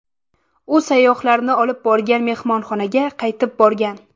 U sayyohlarni olib borgan mehmonxonaga qaytib borgan.